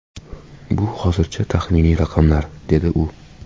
Bu hozircha taxminiy raqamlar”, - dedi u.